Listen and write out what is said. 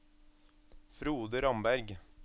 Frode Ramberg